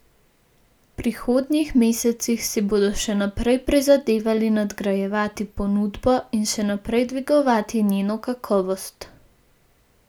V prihodnjih mesecih si bodo še naprej prizadevali nadgrajevati ponudbo in še naprej dvigovati njeno kakovost.